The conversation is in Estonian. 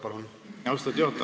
Austatud juhataja!